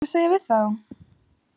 Hvað ætlarðu að segja við þá?